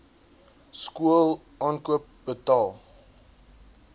skool aankoop betaal